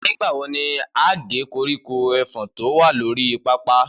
Nígbàwo ní a gé koríko efòn tí o wà lórí pápá